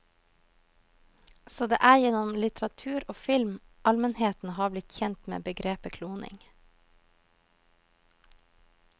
Så det er gjennom litteratur og film allmennheten har blitt kjent med begrepet kloning.